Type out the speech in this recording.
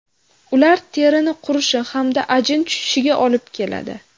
Ular terini qurishi hamda ajin tushishiga olib keladi.